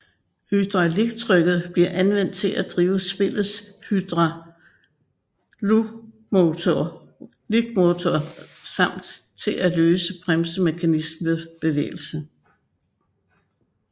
Hydrauliktrykket bliver anvendt til at drive spillets hydraulikmotor samt til at løsne bremsemekanismen ved bevægelse